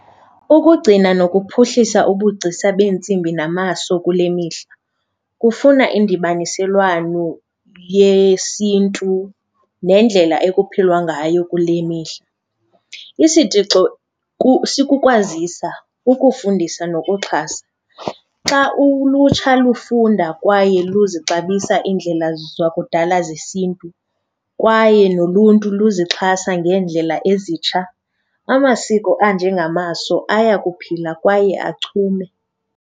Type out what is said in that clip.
Ukugcina nokuphuhlisa ubugcisa beentsimbi namaso kule mihla kufuna indibaniselwano yesiNtu nendlela ekuphilwa ngayo kule mihla. Isitixo sikukwazisa, ukufundisa nokuxhasa. Xa ulutsha lufunda kwaye luzixabisa iindlela zakudala zesiNtu kwaye noluntu luzixhasa ngeendlela ezitsha, amasiko anjengamaso aya kuphila kwaye achume.